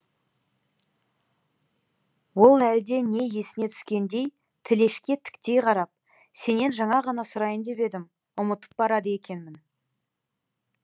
ол әлде не есіне түскендей тілешке тіктей қарап сенен жаңа ғана сұрайын деп едім ұмытып барады екенмін